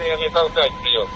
Söyüşlə danışmayın.